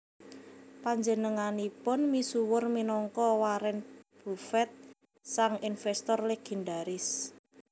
Panjenenganipun misuwur minangka Warren Buffett sang investor legendaris